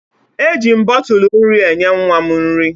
Eji m bọtụl nri enye nwa m nri